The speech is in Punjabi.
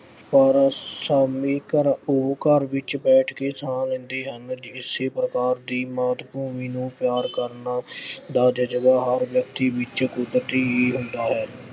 ਪਰ ਸ਼ਾਮੀ ਘਰ ਅਹ ਉਹ ਘਰ ਵਿੱਚ ਬੈਠ ਕੇ ਸਾਹ ਲੈਂਦੇ ਹਨ ਜੇ ਏਸੇ ਪ੍ਰਕਾਰ ਦੀ ਮਾਤ-ਭੂਮੀ ਨੂੰ ਪਿਆਰ ਕਰਨ ਦਾ ਜਜ਼ਬਾ ਹਰ ਵਿਅਕਤੀ ਵਿੱਚ ਅਹ ਕੁਦਰਤੀ ਹੀ ਹੁੰਦਾ ਹੈ।